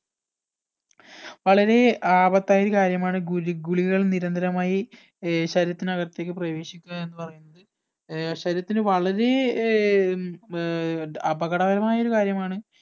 വളരെ ആപത്തായ ഒരു കാര്യമാണ് ഗുലി ഗുളികകൾ നിരന്തരമായി ഏർ ശരീരത്തിനകത്തേക്ക് പ്രവേശിക്കുക എന്ന് പറയുന്നത് ഏർ ശരീരത്തിന് വളരെ ഏർ ഉം ഏർ അപകടകരമായ ഒരു കാര്യമാണ്